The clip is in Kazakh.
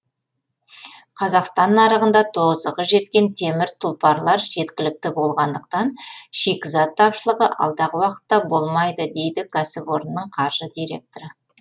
қазақстан нарығында тозығы жеткен темір тұлпарлар жеткілікті болғандықтан шикізат тапшылығы алдағы уақытта болмайды дейді кәсіпорынның қаржы директоры